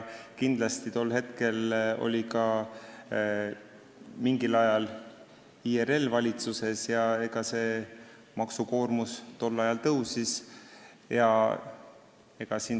Kindlasti oli siis mingil ajal ka IRL valitsuses ja maksukoormus tol ajal tõusis.